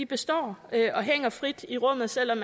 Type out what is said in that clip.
består og hænger frit i rummet selv om